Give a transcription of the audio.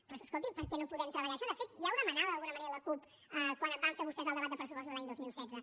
doncs escolti per què no podem treballar això de fet ja ho demanava d’alguna manera la cup quan van fer vostès el debat de pressupostos de l’any dos mil setze